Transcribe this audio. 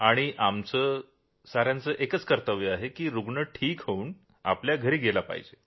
आणि आमचं साऱ्यांचं एकच ध्येय आहे की रूग्ण ठीक होऊन घरी गेला पाहिजे